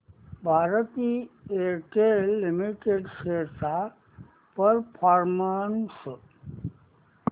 Bharti Airtel limited shares चा performance